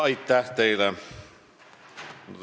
Aitäh teile!